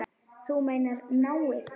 Þú meinar náið?